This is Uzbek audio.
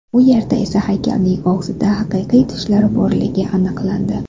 U yerda esa haykalning og‘zida haqiqiy tishlar borligi aniqlandi.